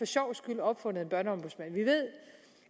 sjovs skyld opfundet en børneombudsmand vi ved